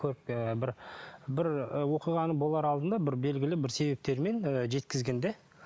ы бір бір ы оқиғаның болар алдында бір белгілі бір себептермен ы жеткізген де